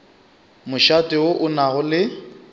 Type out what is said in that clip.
mošate wo o nago le